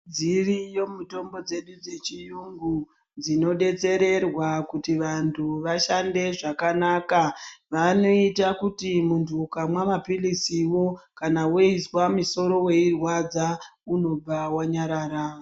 Dziriyo mitombo dzedu dzechirungu dzinodetserwa kuti vantu vashande zvakanaka vanoita kuti muntu ukamwa mapirizi kana weizwa musoro weirwadza unobva wanyarara.